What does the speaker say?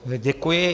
Děkuji.